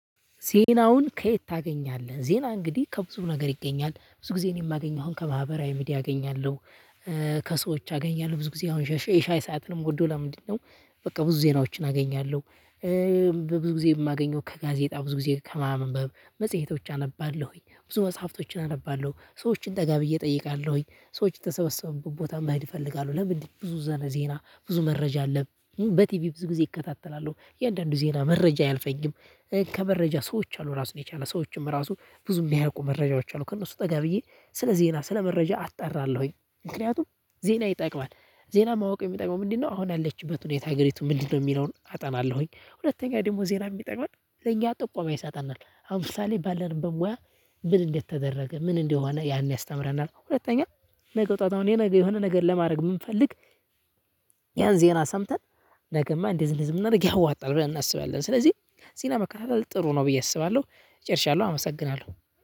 ዜናውን ከየት ታገኛለህ? ዜና እንግዲህ ከብዙ ነገር ይገኛል ብዙ ጊዜ እኔ የማገኘውን አሁን ከማህበራዊ ሚዲያ አገኛለሁ። ከሰዎች አገኛለሁ ብዙ ጊዜ አሁን ሻይ የሻይ ሰዓትን የምወደው ለምንድነው? በቃ ብዙ ዜናዎችን አገኛለሁ። ብዙ ጊዜ የማገኘው ከጋዜጣ ብዙ ጊዜ ከማንበብ መጽሄቶች አነባለሁኝ ብዙ መጽሐፍቶችን አነባለሁ ሰዎችን ጠጋብዬ እጠይቃለሁኝ ሰዎች የተሰበሰቡ ቦታ መሄድ እይፈልጋሁ። ለምንድነው? ብዙ ዘነ ዜና ብዙ መረጃ አለን በቲቪ ብዙ ጊዜ እከታተላለሁ የእያንዳንዱ ዜና መረጃ አያልፈኝም። ከመረጃ ሰዎች አሉ ራሱን የቻለ ሰዎችም ራሱ ብዙም ሚያውቁ መረጃዎች አሉ። ከእነሱ ጠጋ ብዬ ስለ ዜና ስለ መረጃ አጣራለሁኝ። ምክንያቱም ዜና ይጠቅማል ዜና ማወቅ የሚጠቅመው ምንድነው? አሁን ያለችበት ሁኔታ አገሪቱ ምንድነው የሚለውን አጠናለሁኝ። ሁለተኛ ደግሞ ዜና የሚጠቅመን ለኛ ጥቆማ ይሰጠናል። አሁን ሰዓት ላይ ባለንበት ሙያ ምን እንደተደረገ ምን እንደሆነ ያን ያስተምረናል። ሁለተኛ ነገ ጠዋት አሁን የሆነ ነገር የሆነ ነገር ለማድረግ ብንፈልግ። ያን ዜና ሰምተን ነገማ እንዲህ እንደዚህ ብናደርግ ያዋጣል ብለን እናስባለን። ስለዚህ ዜና መከታተል ጥሩ ነው። ብዬ አስባለሁ። ጨርሻለሁ አመሰግናለሁ።